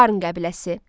Parn qəbiləsi.